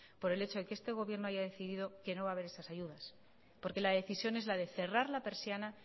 por el hecho de que este gobierno haya decidido que no va a haber esas ayudas porque la decisión es la de cerrar la persiana